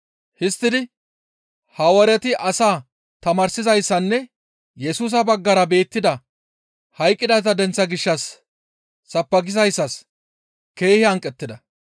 Histtidi Hawaareti asaa tamaarsizayssassinne Yesusa baggara beettida hayqqidayta denththaa gishshas sabbakizayssas keehi hanqettida.